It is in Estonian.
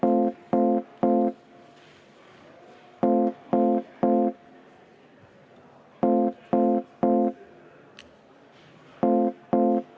Eelnõu 163 teine lugemine on lõppenud.